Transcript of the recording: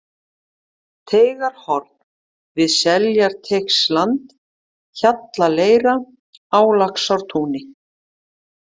Teigarhorn, Við Seljarteigsland, Hjallaleira, Á Laxdalstúni